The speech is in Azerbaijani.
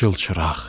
Çılçıraq.